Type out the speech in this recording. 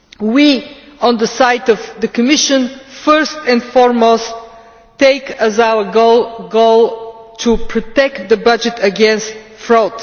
We, on the side of the Commission, first and foremost take as our goal to protect the budget against fraud.